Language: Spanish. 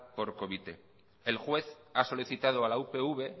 por covite el juez ha solicitado a la upv